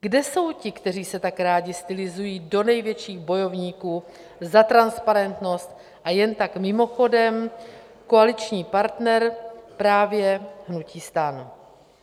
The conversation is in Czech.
Kde jsou ti, kteří se tak rádi stylizují do největších bojovníků za transparentnost, a jen tak mimochodem, koaliční partner právě hnutí STAN?